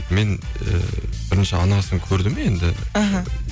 мен ііі бірінші анасын көрдім енді іхі